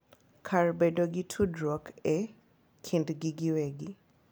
Kar bedo gi tudruok e kindgi giwegi.